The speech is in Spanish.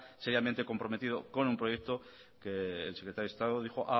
seriamente comprometido con un proyecto que el secretario de estado dijo